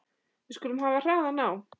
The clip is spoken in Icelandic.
Við skulum hafa hraðann á.